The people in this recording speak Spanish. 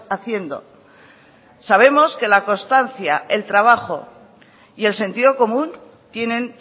haciendo sabemos que la constancia el trabajo y el sentido común tienen